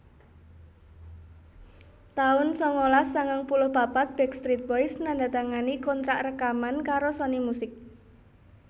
taun sangalas sangang puluh papat Backstreet Boys nandatangani kontrak rekaman karo Sony Music